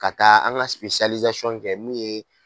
Ka taa an ka kɛ min ye